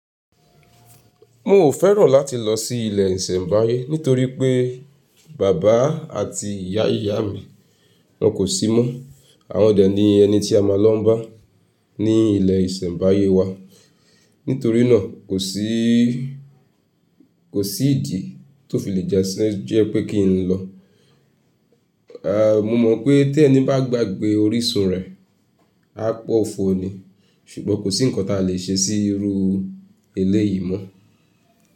Mo ò fẹ́ràn láti lọ sí ilé ìsẹ̀mbáyé nítorí pé bàbá àti ìyá ìyá mi wọ́n kò sí mọ́. Àwọn dà ní ẹni tí a máa lọ bá ní ilé ìsẹ̀mbáyé wa. Nítorí náà kò sí ìdí tó fi lè jẹ́ pé kí n lọ. Mo mọ̀ pé tẹ́ ni bá gbàgbé orísun rẹ̀, á pọ̀fọ́ ni. Ṣùgbọ́n kò sí ǹkan tí a lè ṣe sí irú éléyìí mọ́